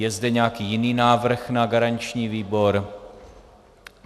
Je zde nějaký jiný návrh na garanční výbor?